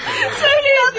Söyləyin, nə oldu?